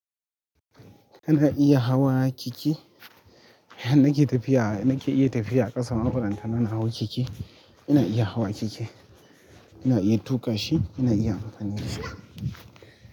Ina iya hawa keke, har nake. Tafiya nake iya tafiya a ƙasa ma balantala na hau keke, ina iya hawa keke ina iya tuƙa shi ina iya hawan shi.